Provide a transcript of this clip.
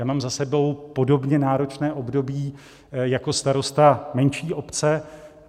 Já mám za sebou podobně náročné období jako starosta menší obce.